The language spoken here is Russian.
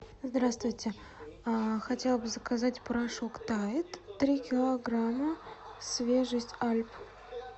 здравствуйте хотела бы заказать порошок тайд три килограмма свежесть альп